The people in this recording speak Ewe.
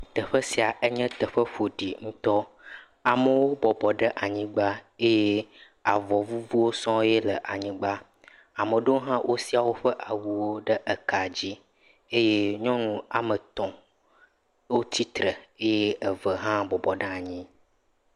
Teƒe sia nye teƒe ƒoɖi ŋtɔ amewo bɔbɔ ɖe anyigbã eye avɔvuvuwo sɔŋ le anyigbã ame aɖewo ha wo sia woƒe awuwo ɖe ka dzi eye nyɔnuwo ame etɔ titre eye eve ha bɔbɔ ɖe anyi